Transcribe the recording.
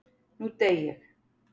Nú dey ég.